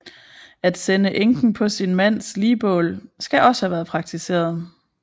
At sende enken på sin mands ligbål skal også have været praktiseret